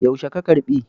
Yaushe ka karɓi?